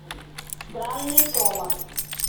странный томас